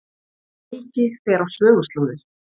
Helgi fer á söguslóðir